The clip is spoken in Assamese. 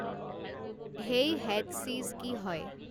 হেই হেড চিজ কি হয়